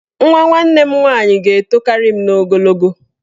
Nwa nwaanyị nwanne m ga-etokarị m n'ogologo.